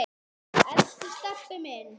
Elsku Stebbi minn.